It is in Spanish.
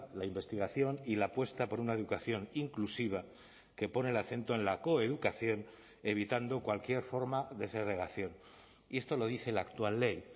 la investigación y la apuesta por una educación inclusiva que pone el acento en la coeducación evitando cualquier forma de segregación y esto lo dice la actual ley